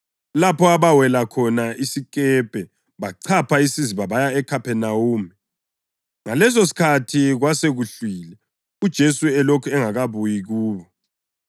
lapho abawela khona isikepe bachapha isiziba baya eKhaphenawume. Ngalesosikhathi kwasekuhlwile, uJesu elokhu engakabuyi kubo.